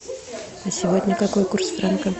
сегодня какой курс франка